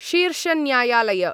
शीर्षन्यायालय